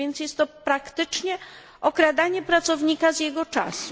A więc jest to praktycznie okradanie pracownika z jego czasu.